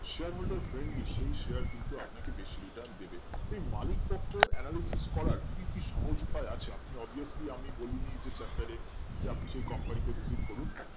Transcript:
সেই Share কিন্তু আপনাকে বেশি Return দেবে এই মালিক পক্ষ Analysis করার কি কি সহজ উপায় আছে আপনি obesely আমি বলিনি যে chapter এ যে আপনি সেই Company তে Visit করুন